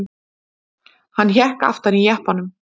Hann hékk aftan í jeppanum.